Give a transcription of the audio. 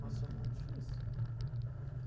Mas foi muito difícil.